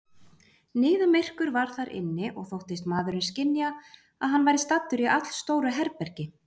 Niðamyrkur var þar inni, og þóttist maðurinn skynja, að hann væri staddur í allstóru herbergi.